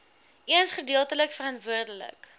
eens gedeeltelik verantwoordelik